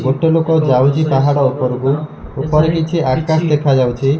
ଗୋଟେ ଲୋକ ଯାଉଚି ପାହାଡ଼ ଓପରକୁ ଉପରେ କିଛି ଆକାଶ ଦେଖାଯାଉଚି।